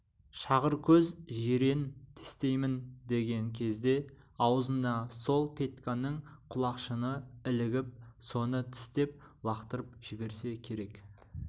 шағыркөз жирен тістеймін деген кезде аузына сол петьканың құлақшыны ілігіп соны тістеп лақтырып жіберсе керек